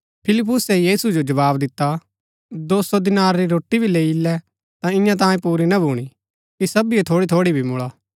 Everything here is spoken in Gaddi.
फिलिप्पुसे यीशु जो जवाव दिता दो सौ दीनार री रोटी भी लैई इल्लै ता ईयां तांयें पूरी ना भूणी कि सबीओ थोड़ी थोड़ी भी मुळा